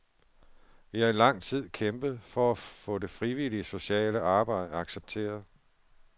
Vi har i lang tid kæmpet for at få det frivillige sociale arbejde accepteret.